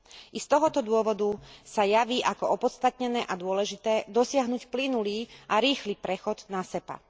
I z tohto dôvodu sa javí ako opodstatnené a dôležité dosiahnuť plynulý a rýchly prechod na SEPA.